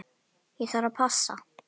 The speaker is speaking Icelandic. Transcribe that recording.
Ég þarf að passa.